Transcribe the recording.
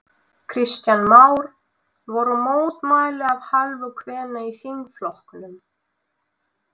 Kristján Már: Voru mótmæli af hálfu kvenna í þingflokknum?